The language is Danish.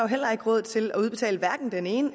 heller ikke råd til at udbetale den ene og